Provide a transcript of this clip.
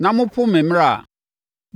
na mopo me mmara a,